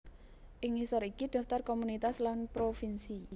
Ing ngisor iki daftar komunitas lan provinsi